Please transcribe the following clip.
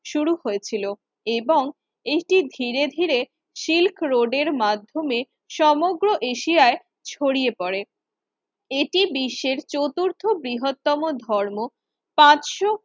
শুরু হয়েছিল এবং এটি ধীরে ধীরে সিল্ক রোডের মাধ্যমে সমগ্র এশিয়ায় ছড়িয়ে পড়ে। এটি বিশ্বের চতুর্থ বৃহত্তম ধর্ম পাঁচশো